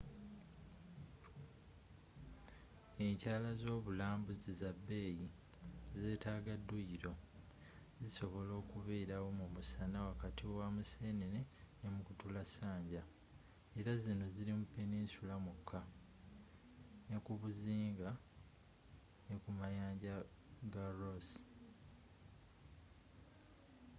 enkyala zobulambuzi za bbeeyi zetaaga duyilo zisobola okubeerawo mumusana wakati wa museenene ne mukutulassanja era zino ziri mu peninsula mwokka nekubuzinga nekumayanja ga ross